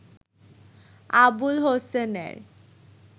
আবুল হোসেনের